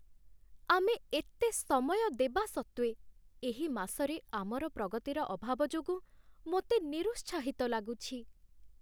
ଆମେ ଏତେ ସମୟ ଦେବା ସତ୍ତ୍ୱେ ଏହି ମାସରେ ଆମର ପ୍ରଗତିର ଅଭାବ ଯୋଗୁଁ ମୋତେ ନିରୁତ୍ସାହିତ ଲାଗୁଛି।